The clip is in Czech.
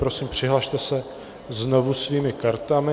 Prosím, přihlaste se znovu svými kartami.